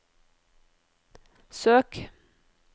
søk